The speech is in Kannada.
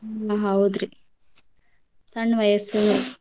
ಹಾ ಹೌದ್ರಿ ಸಣ್ಣ ವಯಸ್ಸು.